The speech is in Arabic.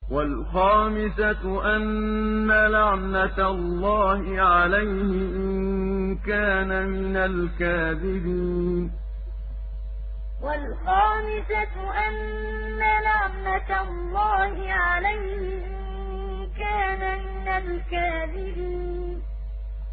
وَالْخَامِسَةُ أَنَّ لَعْنَتَ اللَّهِ عَلَيْهِ إِن كَانَ مِنَ الْكَاذِبِينَ وَالْخَامِسَةُ أَنَّ لَعْنَتَ اللَّهِ عَلَيْهِ إِن كَانَ مِنَ الْكَاذِبِينَ